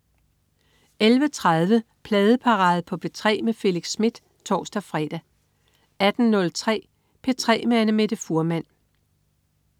11.30 Pladeparade på P3 med Felix Smith (tors-fre) 18.03 P3 med Annamette Fuhrmann